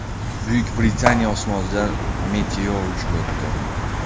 Buyuk Britaniya osmonidan meteor uchib o‘tdi .